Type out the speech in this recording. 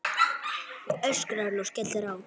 öskrar hann og skellir á.